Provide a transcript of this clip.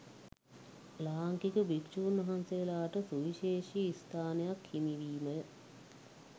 ලාංකික භික්‍ෂූන් වහන්සේලාට සුවිශේෂී ස්ථානයක් හිමිවීමය